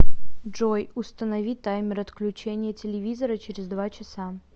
джой установи таймер отключения телевизора через два часа